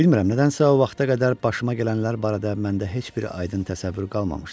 Bilmirəm, nədənsə o vaxta qədər başıma gələnlər barədə məndə heç bir aydın təsəvvür qalmamışdı.